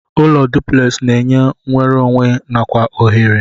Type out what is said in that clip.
Ụlọ duplex na enye nwerụ onwe nakwa ohere.